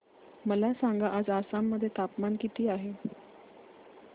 मला सांगा आज आसाम मध्ये तापमान किती आहे